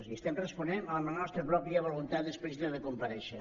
i estem responent a la nostra pròpia voluntat explícita de comparèixer